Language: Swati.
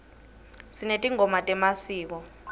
sinetingoma temasiko